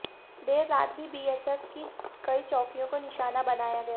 देर रात भी बीएसएफ की कई चौकियों को निशाना बनाया गया